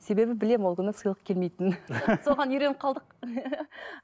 себебі білемін ол күні сыйлық келмейтінін соған үйреніп қалдық